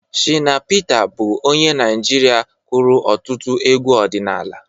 Shịna Pịta bụ onye Naịjirịa kụrụ ọtụtụ egwu ọdịnala.